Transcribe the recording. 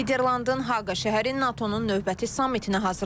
Niderlandın Haqa şəhəri NATO-nun növbəti samitinə hazırlaşır.